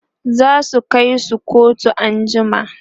zasu Kai su kotu an jima